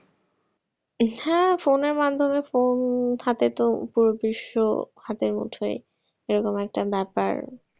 হ্যাঁ phone এর মাধ্যমে phone হাতে তো পুরো বিশ্ব হাতের মুঠোয়, এরকমই একটা ব্যাপার।